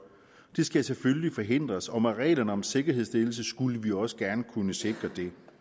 det skal selvfølgelig forhindres og med reglerne om sikkerhedsstillelse skulle vi også gerne kunne sikre